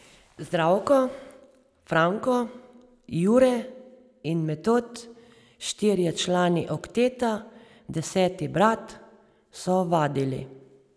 Zdravko, Franko, Jure in Metod, štirje člani okteta Deseti brat, so vadili.